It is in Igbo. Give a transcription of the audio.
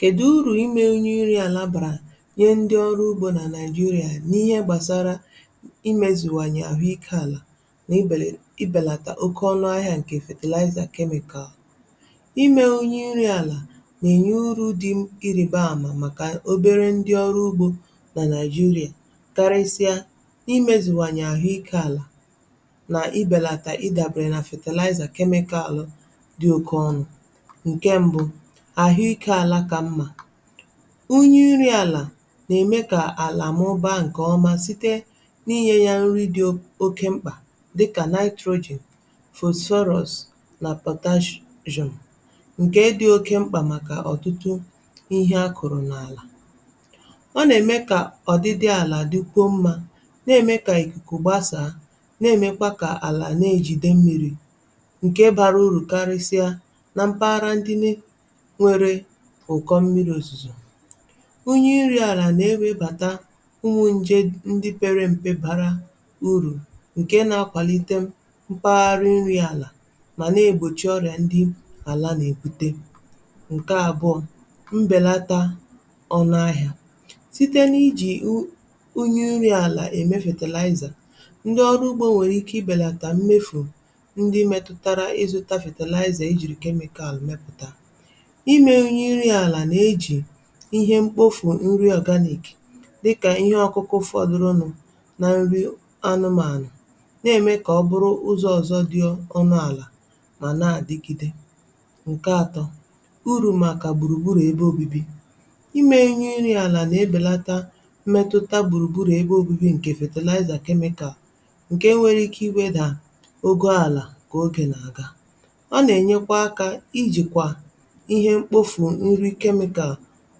Kèdụ urù i mė unyụ iri àlà bàrà nye ndi ọrụ ugbȯ nà naị̀jịrà n’ihe gbàsara i i mėzùwanye àhụ ikė àlà nà ebele i bèlàtà oke ọnụ̇ ahịa ǹkè fertilizer chemical. I mė onye iri àlà nà-èri urù dị ịrịbaamȧ màkà obere ndi ọrụ ugbȯ nà nàị̀jịrà karịsịa i mezuwanye àhụ ikė àlà nà i bèlàtà ịdàbụ̀rị̀ nà fertilizer chemical dị oke ọnụ̇. Nke mbụ, ahụ ike ala ka mma: ịnye iri àlà nà-ème kà àlà mụbaa ǹkè ọma site n’inyė ya nri dị o oke mkpà dịkà nitrogen, phosphorus na potas--sium ǹkè dị oke mkpà màkà ọ̀tụtụ ihe akụ̀rụ̀ n’àlà. Ọ nà-ème kà ọ̀dịdị àlà dịkwuo mmȧ, na-ème kà ìkùkù gbasàa, na-èmekwa kà àlà na-ejìde mmi̇ri̇, nke bara uru karịsịa na mpaghara ndị nị nwere ụkọ mmiri ozuzo. unyụ̇ nri àlà nà-ewèbàta ụmụ̇ ǹje ndị pere m̀pe bara urù ǹke nȧ-akwàlite mpaghara nri àlà mà nà-ègbòchi ọrịà ndị àlà nà-èbute Nke abụ́ọ, mbèlata ọnụ ahịȧ: site n’ijì unyụ̇ nri àlà ème fertilizer, ndị ọrụ ugbȯ nwèrè ike i bèlàtà mmefù ndị metụtara ịzụ̇tȧ fertilizer e jìrì chemical mepụ̀ta. I me unyi nri ala na-eji ihe mkpofù nri organic dịkà ihe ọkụkụ fọdụrụnụ̀ na nri anụmanụ̀ na-eme ka ọ bụrụ ụzọ ọzọ dị ọnụ àlà ma na-adịgide. Nke atọ, urù màkà gbùrùgburù ebe obibi: i mė unyi nri àlà na-ebèlàtà mmetụtà gbùrùgburù ebe obibi ǹkè fertilizer chemical, ǹke nwere ike i wedà ogo àlà kà ogè nà-àga. Ọ nà-enyekwa akȧ i jìkwà ihe mkpofu nri nri chemical